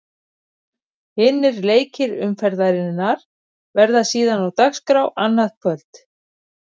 Hinir leikir umferðarinnar verða síðan á dagskrá annað kvöld.